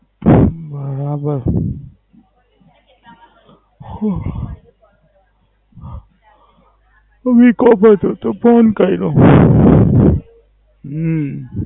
હા બસ. ઉહ વિકો હતો તો ફોન કયરો. હમ